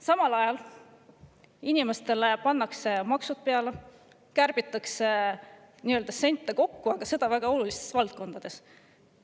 Samal ajal pannakse inimestele peale maksud, kärbitakse, et sente kokku saada, ja seda väga olulistes valdkondades.